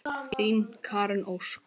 Þín Karen Ósk.